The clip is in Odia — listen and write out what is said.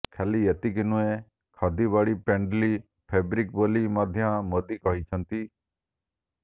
ଖାଲି ଏତିକି ନୁହେଁ ଖଦି ବଡି ଫ୍ରେଣ୍ଡଲୀ ଫେବ୍ରିକ୍ ବୋଲି ମଧ୍ୟ ମୋଦି କହିଛନ୍ତି